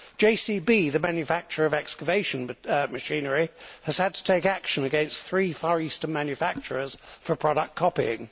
JCB, the manufacturer of excavation machinery, has had to take action against three Far Eastern manufacturers for product copying.